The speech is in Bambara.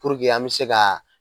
Purke an bɛ se ka